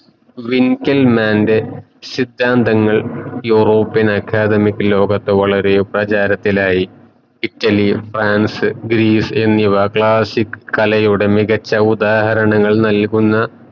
vington mande സിദാന്തങ്ങൾ European academic ലോകത്തെ വളരെ പ്രചാരത്തിലായി ഇറ്റലി ഫ്രാൻസ് ഗ്രീസ് എന്നിവ classic കലയുടെ മികച്ച ഉദാഹരണങ്ങൾ നൽകുന്ന